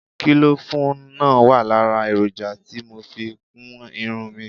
Kílòfù náà wà lára èròjà tí mo fi kún irun mi